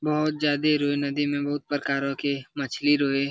बहुत ज्यादे इ लोग नदी में बहुत प्रकारा के मछली रहे।